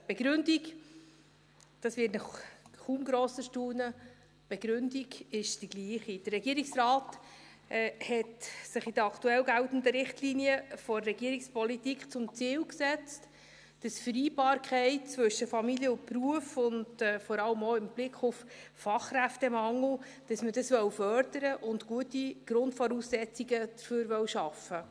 Die Begründung, dies wird Sie kaum erstaunen, die Begründung ist dieselbe: Der Regierungsrat hat sich in den aktuell geltenden Richtlinien der Regierungspolitik zum Ziel gesetzt, die Vereinbarkeit zwischen Familie und Beruf – vor allem auch im Hinblick auf den Fachkräftemangel – zu fördern, und will dafür gute Grundvoraussetzungen schaffen.